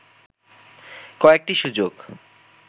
কয়েকটি সুযোগ